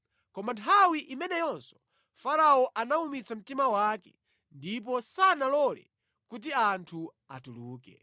Koma nthawi imeneyinso Farao anawumitsa mtima wake ndipo sanalole kuti anthu atuluke.